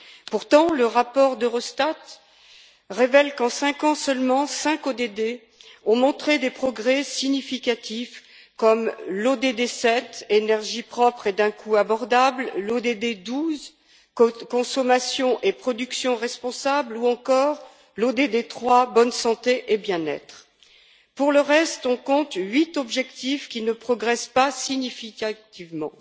Pourtant, le rapport d'Eurostat révèle qu'en cinq ans seulement, cinq ODD ont montré des progrès significatifs, comme l'ODD 7 Énergie propre et d'un coût abordable, l'ODD 12 Consommation et production responsables ou encore l'ODD 3 Bonne santé et bien être. Pour le reste, on compte huit objectifs qui ne progressent pas significativement.